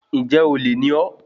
Ǹjẹ́ olè ni ọ́?